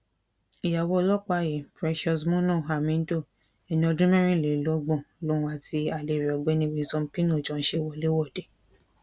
ìyàwó ọlọpàá yìí precious moono hamindo ẹni ọdún mẹrìnlélọgbọn lòun àti alẹ rẹ ọgbẹni wisdom pino jọ ń ṣe wọléwọde